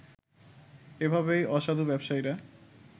এভাবেই অসাধু ব্যবসায়ীরা